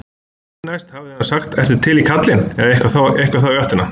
Því næst hafi hann sagt ertu til í kallinn? eða eitthvað í þá áttina.